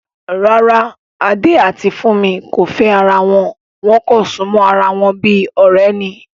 Rárá, Adé àti Fúnmi kò fẹ́ ara wọn, wọ́n kàn súnmọ́ ara wọn bí ọ̀rẹ́ ni